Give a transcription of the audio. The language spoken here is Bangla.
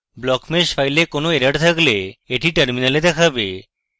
blockmesh ফাইলে কোনো এরর থাকলে এটি টার্মিনালে দেখাবে